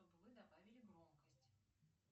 чтобы вы добавили громкость